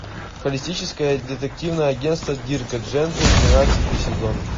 холистическое детективное агентство дирка джентли тринадцатый сезон